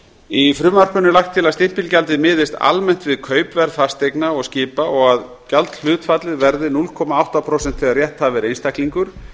í frumvarpinu er lagt til að stimpilgjaldið miðist almennt við kaupverð fasteigna og skipa og að gjaldhlutfallið verði núll komma átta prósent þegar rétthafi er einstaklingur